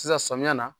Sisan samiya na